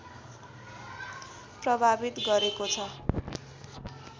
प्रभावित गरेको छ